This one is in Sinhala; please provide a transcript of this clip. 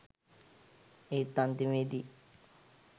ඒත් අන්තිමේ දී